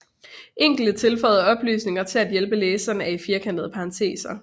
Enkelte tilføjede oplysninger til at hjælpe læseren er i firkantede parenteser